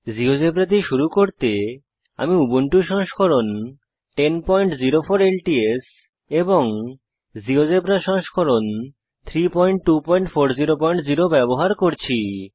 GeoGebra দিয়ে শুরু করতে আমি উবুন্টু সংস্করণ 1004 ল্টস এবং জীয়োজেব্রা সংস্করণ 32400 ব্যবহার করছি